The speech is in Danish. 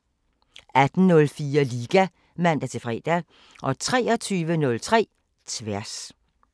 18:04: Liga (man-fre) 23:03: Tværs